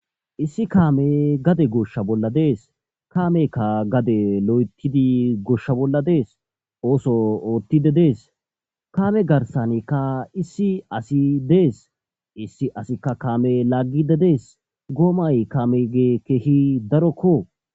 Issi kaamee gade goshsha bolla dees; kaameekka loyththidi gade goshsha bolla dees; oosoo ooththiidde dees; kaame garssaanikka issi asi dees; issi asikka kaame laagiidde dees; goomay kaameegee keehi darokkoo.